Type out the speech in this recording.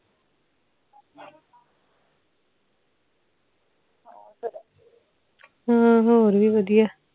ਹਮ ਹੋਰ ਵੀ ਵਧੀਆ